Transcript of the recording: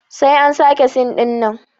Sai an sake sin ɗinnan